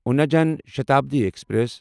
یونا Jan Shatabdi express